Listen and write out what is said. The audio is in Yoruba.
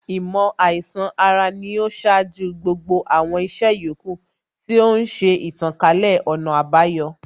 Īmò àīsan ara sì ni ó ṣáájú gbogbo àwọn ìṣe yòókù, tí ó ń ṣe ìtànkálẹ̀ ọ̀nà àbayọ